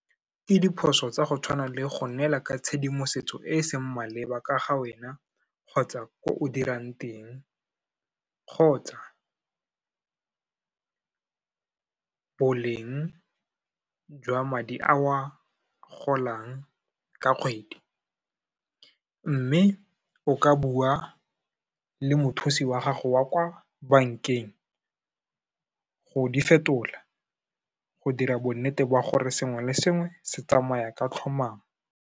Ke diphoso tsa go tshwana le go neela ka tshedimosetso e e seng maleba ka ga wena kgotsa ko o dirang teng, kgotsa boleng jwa madi a o a golang ka kgwedi. Mme, o ka bua le mothusi wa gago wa kwa bankeng, go di fetola, go dira bonnete ba gore sengwe le sengwe se tsamaya ka tlhomamo.